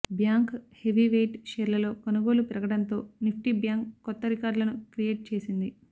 bank heavy weight షేర్లలో కొనుగోళ్లు పెరగడంతో నిఫ్టీ బ్యాంక్ కొత్త రికార్డ్లను క్రియేట్ చేసింది